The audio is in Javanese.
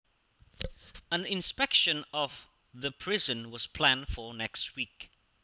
An inspection of the prison was planned for next week